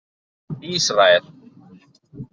Ísrael